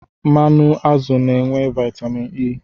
Mmanụ azụ na-enwe vaitamin E.